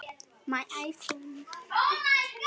Missir helst ekki af leik.